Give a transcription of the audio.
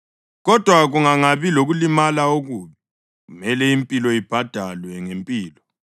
Kodwa kungangabi lokulimala okubi, kumele impilo ibhadalwe ngempilo,